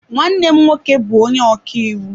Nwanne m nwoke bu onye ọkaiwu.